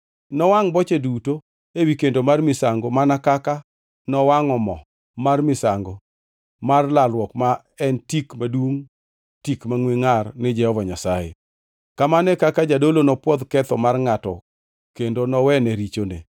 Nowangʼ boche duto ewi kendo mar misango mana kaka nowangʼo mo mar misango mar lalruok ma en tik madungʼ tik mangʼwe ngʼar ni Jehova Nyasaye. Kamano e kaka jadolo nopwodh ketho mar ngʼatno kendo nowene richone.